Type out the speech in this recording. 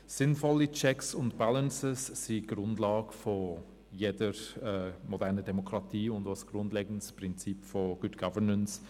Sinnvolle Checks and Balances sind die Grundlage jeder modernen Demokratie und ein grundlegendes Prinzip von Good Governance.